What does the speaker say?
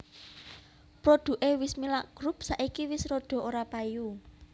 Produke Wismilak Group saiki wis rodo ora payu